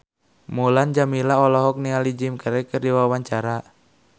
Mulan Jameela olohok ningali Jim Carey keur diwawancara